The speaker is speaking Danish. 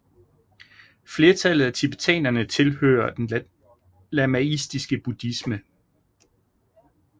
Flertallet af tibetanerne tilhører den lamaistiske buddhisme